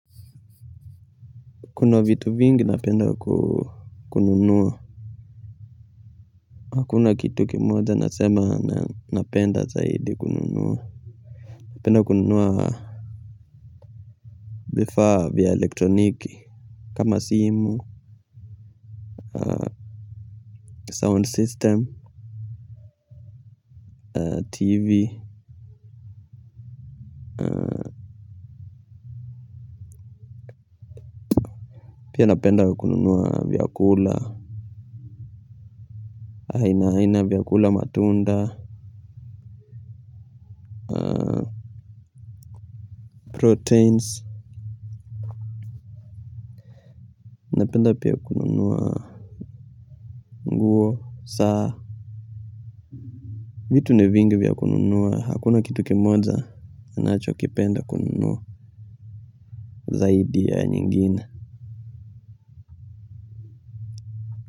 Kuna vitu vingi napenda kununua. Hakuna kitu kimoja nasema napenda zaidi kununua. Napenda kununua vifaa vya elektroniki. Kama simu Sound system TV. Pia napenda kununua vyakula aina aina ya vyakula matunda Proteins. Napenda pia kukununua Nguo Saa Vitu ni vingi vya kununua hakuna kitu kimoja ninacho kipenda kununua zaidi ya kingine.